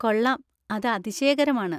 കൊള്ളാം, അത് അതിശയകരമാണ്.